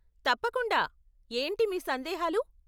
తప్పకుండా, ఏంటి మీ సందేహాలు ?